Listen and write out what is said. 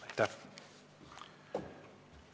Aitäh!